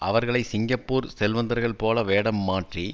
அவர்களை சிங்கப்பூர் செல்வந்தர்கள் போல வேடம் மாற்றி